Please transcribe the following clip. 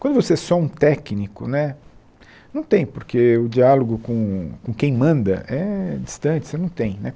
Quando você é só um técnico né, não tem, porque o diálogo com com quem manda é distante, você não tem né